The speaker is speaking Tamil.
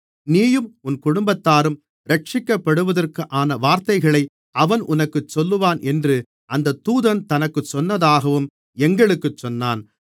நீயும் உன் குடும்பத்தாரும் இரட்சிக்கப்படுவதற்கான வார்த்தைகளை அவன் உனக்குச் சொல்லுவான் என்று அந்தத் தூதன் தனக்குச் சொன்னதாகவும் எங்களுக்கு சொன்னான்